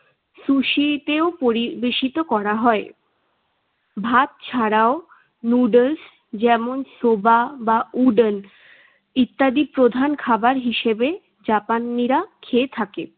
সুশিতেও পরিবেশিত করা হয়। ভাত ছাড়াও নুডুলস যেমন, সোবা বা ওডন ইত্যাদি প্রধান খাবার হিসেবে জাপানিরা খেয়ে থাকে।